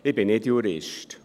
Ich bin nicht Jurist.